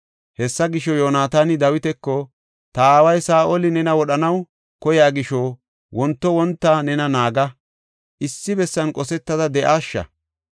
Hessa gisho, Yoonataani Dawitako, “Ta aaway Saa7oli nena wodhanaw koyiya gisho wonto wonta nena naaga; issi bessan qosetada de7aasha.